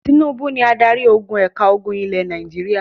Tínúbú ni adarí ogun ẹ̀ka ogun ilẹ̀ Nàìjíríà.